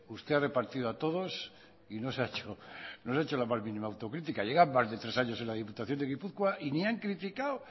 usted ha repartido a todos y no se ha hecho la más mínima autocrítica llevan más de tres años en la diputación de gipuzkoa y ni han criticado